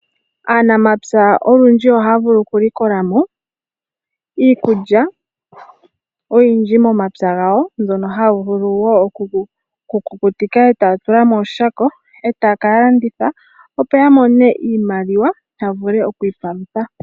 Aanamapya olundji ohaya vulu okulikola mo iikulya oyindji momapya gawo, mbyono haya vulu okukutika, e taya tula mooshako, yaka landithe opo yamone iimaliwa.